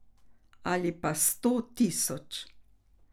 Ali pa sto tisoč.